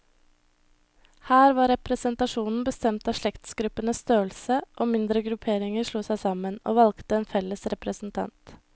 Her var representasjonen bestemt av slektsgruppenes størrelse, og mindre grupperinger slo seg sammen, og valgte en felles representant.